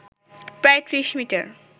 প্রায় ত্রিশ মিটার